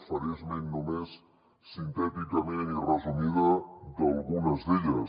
faré esment només sintèticament i resumida d’algunes d’elles